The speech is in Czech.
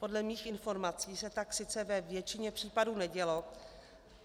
Podle mých informací se tak sice ve většině případů nedělo.